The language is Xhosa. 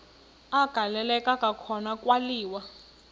agaleleka kwakhona kwaliwa